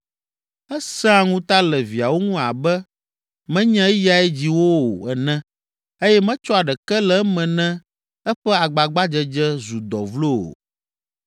Esẽa ŋuta le viawo ŋu abe menye eyae dzi wo o ene eye metsɔa ɖeke le eme ne eƒe agbagbadzedze zu dɔ vlo o.